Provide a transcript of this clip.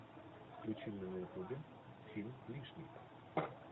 включи мне на ютубе фильм лишний